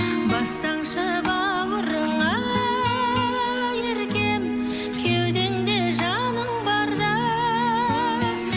бассаңшы бауырыңа еркем кеудеңде жаның барда